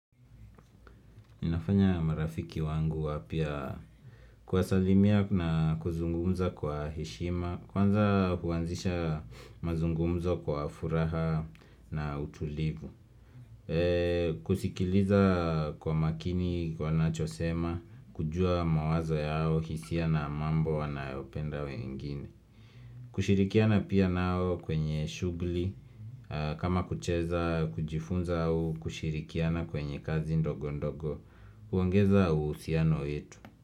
Inafanya marafiki wangu wapya kuwasalimia na kuzungumza kwa heshima Kwanza huanzisha mazungumzo kwa furaha na utulivu kusikiliza kwa makini wanachosema kujua mawazo yao hisia na mambo wanayopenda wengine kushirikiana pia nao kwenye shughuli kama kucheza kujifunza au kushirikiana kwenye kazi ndogo ndogo huongeza uhusiano wetu.